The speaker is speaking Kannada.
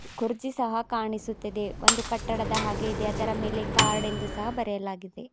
ಕುರ್ಚಿ ಸಹ ಕಾಣಿಸುತ್ತಿದೆ ಒಂದು ಕಟ್ಟಡದ ಹಾಗೆ ಇದೆ ಅದರ ಮೇಲೆ ಕಾರ್ಡ್ ಎಂದು ಸಹಾ ಬರೆಯಲಾಗಿದೆ.